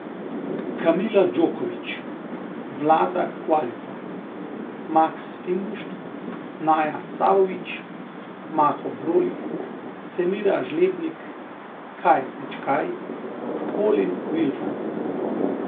Kamila Đoković, Vlada Qualizza, Max Fingušt, Naya Savović, Maho Brolih, Semira Žlebnik, Kai Pečkaj, Colin Wilfan.